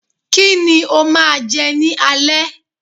Kíni o máa je ni alé?